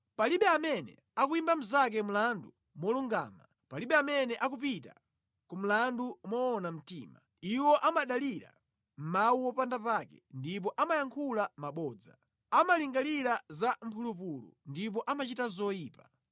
Palibe amene akuyimba mnzake mlandu molungama, palibe amene akupita ku mlandu moona mtima. Iwo amadalira mawu opanda pake ndipo amayankhula mabodza; amalingalira za mphulupulu ndipo amachita zoyipa.